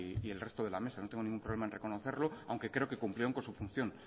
y el resto de la mesa no tengo ningún problema en reconocerlo aunque creo que cumplieron con su función